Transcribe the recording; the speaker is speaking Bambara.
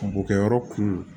Bɔgɔkɛyɔrɔ kun